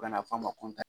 U kana fɔ a ma ko